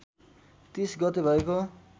३० गते भएको